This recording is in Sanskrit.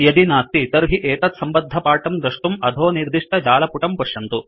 यदि नास्ति तर्हि एतत्सम्बद्धपाठं दृष्टुं अधो निर्दिष्टजालपुटं पश्यन्तु